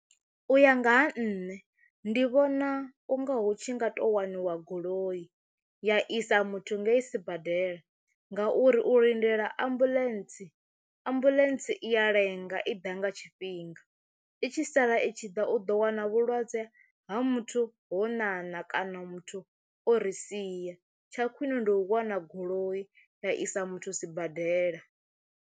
U ya nga ha nṋe ndi vhona u nga hu tshi nga to waniwa goloi ya isa muthu ngei sibadela ngauri u lindela ambuḽentse ambuḽentse i ya lenga i ḓa nga tshifhinga, i tshi sala i tshi ḓa u ḓo wana vhulwadze ha muthu ho ṋaṋa kana muthu o ri sia tsha khwine ndi u wana goloi ya isa muthu sibadela.